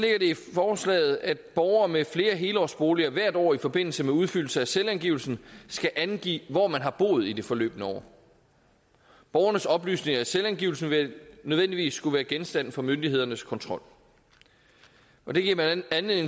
forslaget at borgere med flere helårsboliger hvert år i forbindelse med udfyldelse af selvangivelsen skal angive hvor man har boet i det forløbne år borgernes oplysninger i selvangivelsen vil nødvendigvis skulle være genstand for myndighedernes kontrol og det giver blandt andet